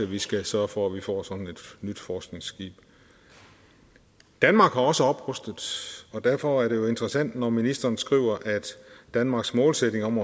vi skal sørge for at vi får sådan et nyt forskningsskib danmark har også oprustet og derfor er det jo interessant når ministeren skriver at danmarks målsætning om